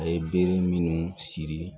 A ye bere minnu siri